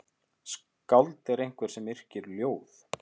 Skáld er einhver sem yrkir ljóð.